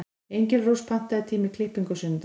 Engilrós, pantaðu tíma í klippingu á sunnudaginn.